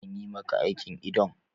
Anyi maka aikin idon?